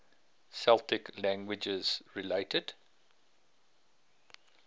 celtic languages related